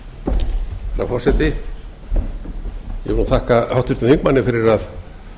herra forseti ég vil þakka háttvirtum þingmanni fyrir að